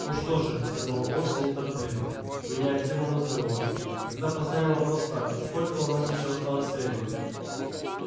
ну что же сказал орси неторопливо меняя тему разговора тогда поставим вопрос так сколько у нас ещё осталось времени